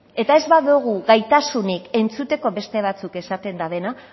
eta ez badogu gaitasunik entzuteko beste batzuk esaten dabena